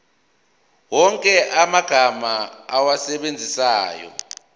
wonke amagama owasebenzisayo